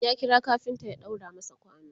ya kira kafinta ya ɗaura masa kwano